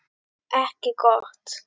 Ekki gott.